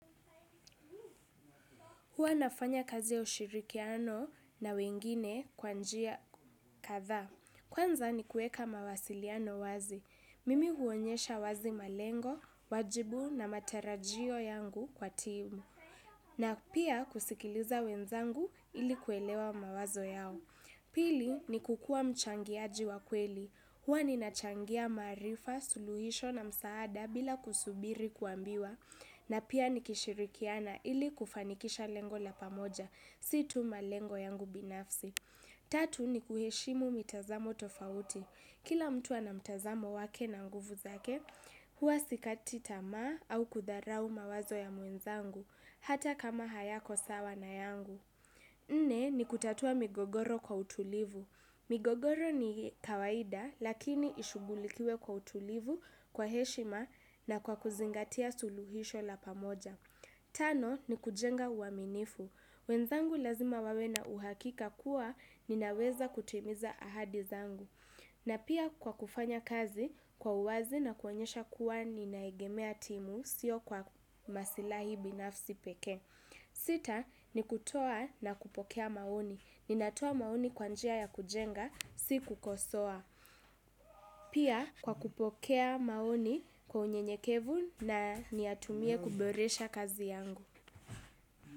Huwa nafanya kazi ya ushirikiano na wengine kwa njia kadhaa. Kwanza ni kuweka mawasiliano wazi. Mimi huonyesha wazi malengo, wajibu na matarajio yangu kwa team. Na pia kusikiliza wenzangu ili kuelewa mawazo yao. Pili ni kukua mchangiaji wa kweli. Huwa ni nachangia maarifa, suluhisho na msaada bila kusubiri kuambiwa. Na pia nikishirikiana ili kufanikisha lengo la pamoja, si tu malengo yangu binafsi. Tatu ni kuheshimu mitazamo tofauti. Kila mtu ana mtazamo wake na nguvu zake, huwa sikati tamaa au kudharau mawazo ya mwenzangu, hata kama hayako sawa na yangu. Nne ni kutatua migogoro kwa utulivu. Migogoro ni kawaida lakini ishugulikiwe kwa utulivu, kwa heshima na kwa kuzingatia suluhisho la pamoja. Tano ni kujenga uaminifu. Wenzangu lazima wawe na uhakika kuwa ninaweza kutimiza ahadi zangu. Na pia kwa kufanya kazi kwa uwazi na kuonyesha kuwa ninaegemea timu sio kwa masilahi binafsi peke. Sita ni kutoa na kupokea maoni. Ninatoa maoni kwa njia ya kujenga, si kukosoa. Pia kwa kupokea maoni kwa unyenyekevu na niyatumie kuboresha kazi yangu.